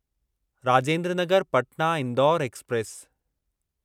Rajendra Nagar Patna Indore express